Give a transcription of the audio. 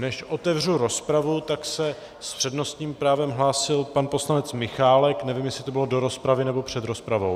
Než otevřu rozpravu, tak se s přednostním právem hlásil pan poslanec Michálek, nevím, jestli to bylo do rozpravy, nebo před rozpravou.